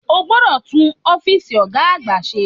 O gbodò tún Ófììsì Ògá àgbà se